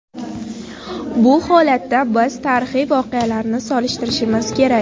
Bu holatda biz tarixiy voqealarni solishtirishimiz kerak.